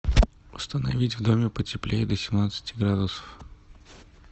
установить в доме потеплее до семнадцати градусов